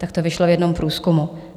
Tak to vyšlo v jednom průzkumu.